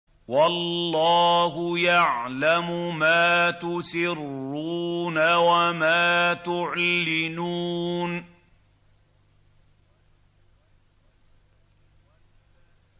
وَاللَّهُ يَعْلَمُ مَا تُسِرُّونَ وَمَا تُعْلِنُونَ